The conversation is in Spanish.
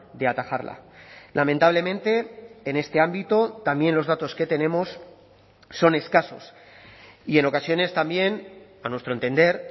de atajarla lamentablemente en este ámbito también los datos que tenemos son escasos y en ocasiones también a nuestro entender